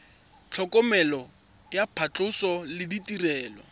tlhokomelo ya phatlhoso le ditirelo